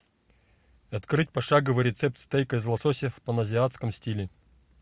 открыть пошаговый рецепт стейка из лосося в паназиатском стиле